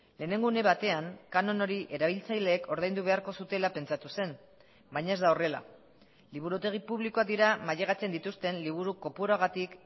lehenengo une batean kanon hori erabiltzaileek ordaindu beharko zutela pentsatu zen baina ez da horrela liburutegi publikoak dira mailegatzen dituzten liburu kopuruagatik